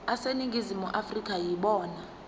aseningizimu afrika yibona